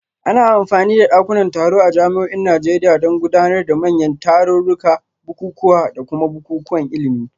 Ana amfani da dakunan taro a jami'o'in Najeriya don gudanar da manyan tarurruka, bukukuwa, da kuma bukukuwan ilimi